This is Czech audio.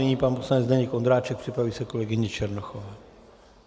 Nyní pan poslanec Zdeněk Ondráček, připraví se kolegyně Černochová.